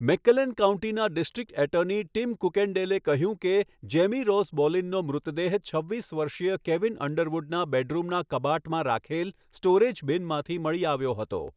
મેકક્લેન કાઉન્ટીના district attorney Tim કુકેન્ડેલે કહ્યું કે, જેમી રોઝ બોલિનનો મૃતદેહ છવ્વીસ વર્ષીય કેવિન અંડરવુડના બેડરૂમના કબાટમાં રાખેલ સ્ટોરેજ બિનમાંથી મળી આવ્યો હતો.